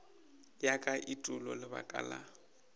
ya ka etulo lebaka la